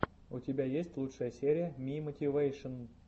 у тебя есть лучшая серия мимотивэйшн